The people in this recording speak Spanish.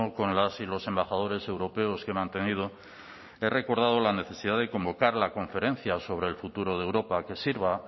con las y los embajadores europeos que he mantenido he recordado la necesidad de convocar la conferencia sobre el futuro de europa que sirva